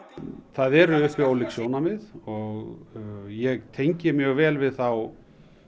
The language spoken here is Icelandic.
það eru uppi ólík sjónarmið og ég tengi mjög vel við þá